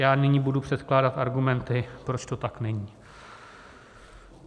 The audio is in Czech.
Já nyní budu předkládat argumenty, proč to tak není.